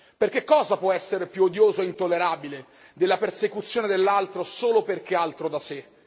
Perché cosa può essere più odioso e intollerabile della persecuzione dell'altro solo perché altro da sé?